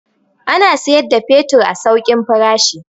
Suna siyar da fetur a saukin farashi.